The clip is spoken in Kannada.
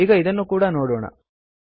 ಈಗ ಇದನ್ನು ಕೂಡ ನೋಡೋಣ